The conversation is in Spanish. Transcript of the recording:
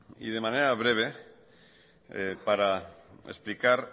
de manera breve para explicar